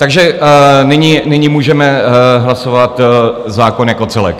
Takže nyní můžeme hlasovat zákon jako celek.